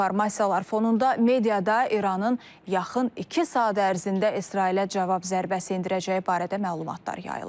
Bu informasiyalar fonunda mediada İranın yaxın iki saat ərzində İsrailə cavab zərbəsi endirəcəyi barədə məlumatlar yayılır.